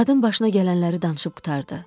Qadın başına gələnləri danışıb qurtardı.